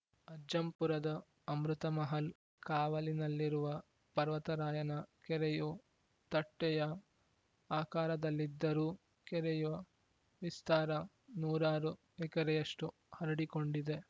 ಅಜ್ಜಂಪುರದ ಅಮೃತಮಹಲ್‌ ಕಾವಲಿನಲ್ಲಿರುವ ಪರ್ವತರಾಯನ ಕೆರೆಯು ತಟ್ಟೆಯ ಆಕಾರದಲ್ಲಿದ್ದರೂ ಕೆರೆಯ ವಿಸ್ತಾರ ನೂರಾರು ಎಕರೆಯಷ್ಟು ಹರಡಿಕೊಂಡಿದೆ